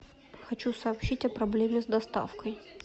хочу сообщить о проблеме с доставкой